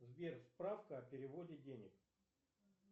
сбер справка о переводе денег